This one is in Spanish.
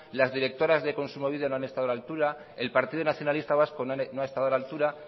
las directoras de kontsumobide no han estado a la altura el partido nacionalista vasco no ha estado a la altura